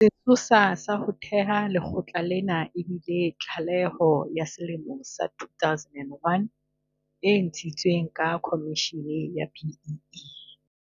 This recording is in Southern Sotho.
Sesosa sa ho thewa ha lekgotla lena e bile tlaleho ya selemo sa 2001 e ntshitsweng ke khomishene ya BEE.